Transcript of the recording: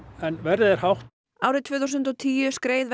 en verðið er hátt árið tvö þúsund og tíu skreið